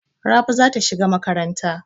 Rabi za ta shiga makaranta.